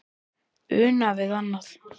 Una við annað.